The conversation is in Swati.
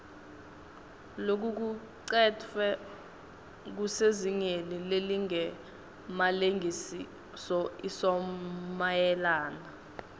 lokucuketfwe kusezingeni lelingemalengisoisomayelana